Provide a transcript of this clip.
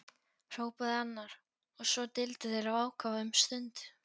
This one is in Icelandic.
hrópaði annar, og svo deildu þeir af ákafa um stund.